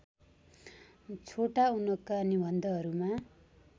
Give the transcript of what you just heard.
छोटा उनका निबन्धहरूमा